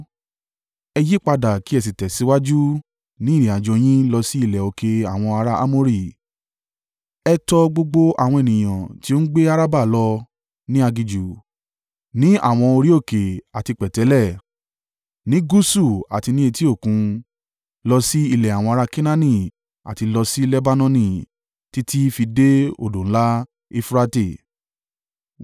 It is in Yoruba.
Ẹ yípadà kí ẹ sì tẹ̀síwájú ní ìrìnàjò yín lọ sí ilẹ̀ òkè àwọn ará Amori, ẹ tọ gbogbo àwọn ènìyàn tí ó ń gbé Arabah lọ ní aginjù, ní àwọn orí òkè àti pẹ̀tẹ́lẹ̀, ní gúúsù àti ní etí Òkun, lọ sí ilẹ̀ àwọn ará Kenaani àti lọ sí Lebanoni, títí fi dé odò ńlá Eufurate.